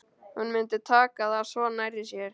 Hún myndi taka það svo nærri sér.